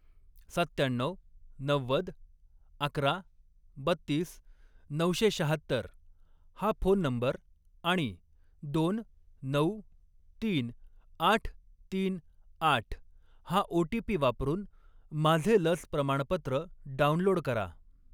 सत्त्याण्णऊ, नव्वद, अकरा, बत्तीस, नऊशे शहात्तर हा फोन नंबर आणि दोन, नऊ, तीन, आठ, तीन, आठ हा ओ.टी.पी. वापरून माझे लस प्रमाणपत्र डाउनलोड करा.